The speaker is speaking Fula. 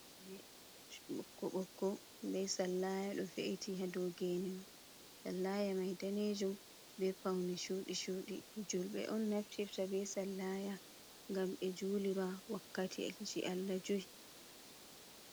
geene on ɓokko-ɓokko bee sallaya ɗo we’iti haadow geene may, sallaya may daneejum bee pawne cuuɗii-cuudi, julɓe on naftirta bee sallaya ngam ɓe juulira wakkatiiji Allah joy.